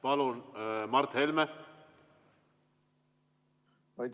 Palun, Mart Helme!